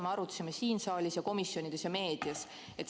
Me arutasime seda siin saalis, komisjonides ja meedias.